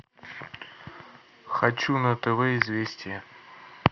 хочу на тв известия